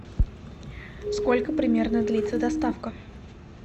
сколько примерно длится доставка